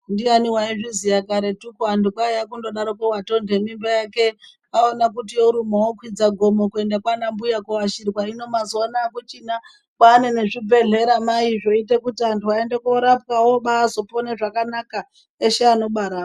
Ndiani waizviziya karetuko antu kwaiya kundodaroko watoende mimba yake aona kuti yoruma okwidza gomo kuenda kwana mbuya koashirwa hino mazuwanaya akuchina kwane nezvibhedhlera mai zvoita kuti antu aende korapwawo obazopone zvakanaka eshe anobarwao.